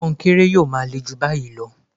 Kọnkéré yóò máa le jù báyìí lọ